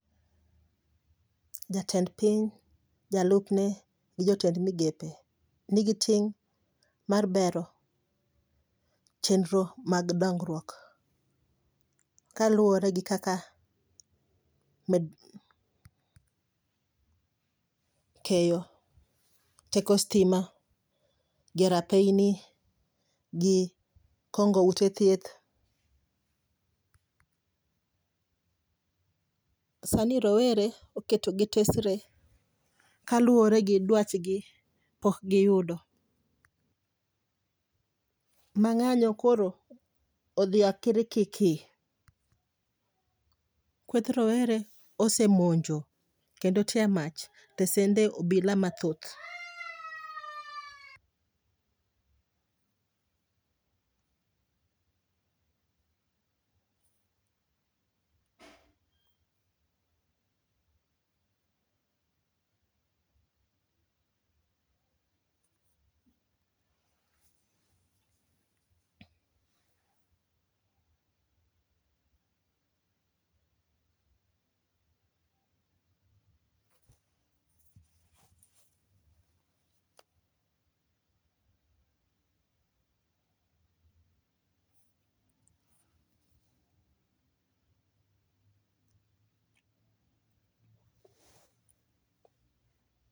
Jatend piny, jalupne gi jotend migepe nigi ting' mar bero chenro mag dongruok. Kaluore gi kaka ikeyo teko sitima, gi rathini, gi kongo ute thieth. Sani rowere oketogi tesre kaluore gi dwachgi pok giyudo. Ma ng'anyo koro odhi akirikiki. Thoth rowere osemonjo kendo tya mach tesende obila mathoth.